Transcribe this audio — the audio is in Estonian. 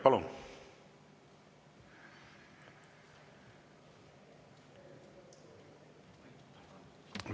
Palun!